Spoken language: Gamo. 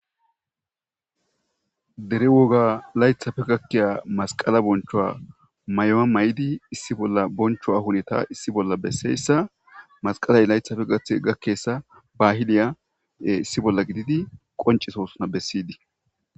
dere woga laythafe gakkiya masqala bonchowa may7oa may7idi issi bolla bonchoa huneta issi bolla besseyssa masqalay laythafe gathe gakkessa bahiliya issi bolla gididi qoncisosuna bessiydii